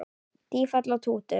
Tífall og Tútur